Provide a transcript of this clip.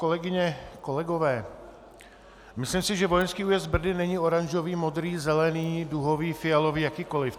Kolegyně, kolegové, myslím si, že vojenský újezd Brdy není oranžový, modrý, zelený, duhový, fialový, jakýkoliv.